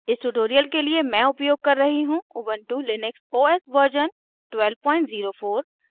इस tutorial के लिए मैं उपयोग कर रही हूँ ubuntu लिनक्स os version 1204